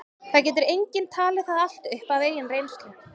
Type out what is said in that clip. það getur enginn talið það allt upp af eigin reynslu